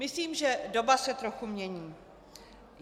Myslím, že doba se trochu mění.